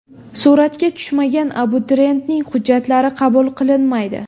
Suratga tushmagan abituriyentning hujjatlari qabul qilinmaydi.